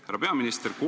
Härra peaminister!